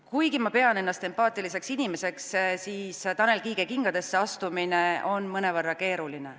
Kuigi ma pean ennast empaatiliseks inimeseks, siis Tanel Kiige kingadesse astumine on mõnevõrra keeruline.